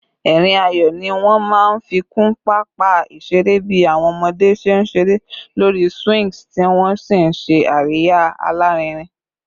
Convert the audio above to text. Ẹ̀rín ayọ̀ ni wọ́n máa ń fi kún pápá ìṣeré bí àwọn ọmọdé ṣe ń ṣeré lórí swings tí wọ́n sì ń ṣe àríyá alárinrin